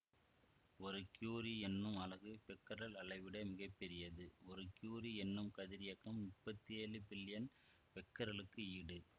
ஒரு கியூரி என்னும் அலகு பெக்கரல் அளவைவிட மிகப்பெரியது ஒரு கியூரி என்னும் கதிரியக்கம் முப்பத்தி ஏழு பில்லியன் பெக்கரலுக்கு ஈடு